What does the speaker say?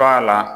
Fa na